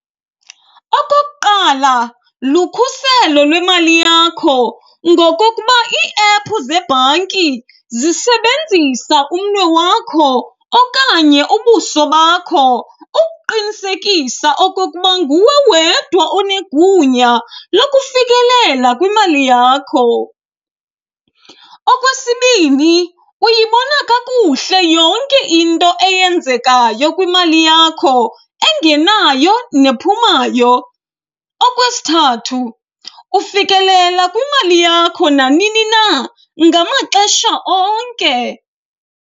Okokuqala, lukhuselo lwemali yakho ngokokuba iiephu zebhanki zisebenzisa umnwe wakho okanye ubuso bakho ukuqinisekisa okokuba nguwe wedwa onegunya lokufikelela kwimali yakho. Okwesibini, uyibona kakuhle yonke into eyenzekayo kwimali yakho engenayo nephumayo. Okwesithathu, ufikelela kwimali yakho nanini na ngamaxesha onke.